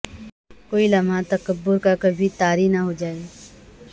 کوئی لمحہ تکبر کا کبھی طاری نہ ہو جائے